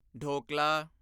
dhokla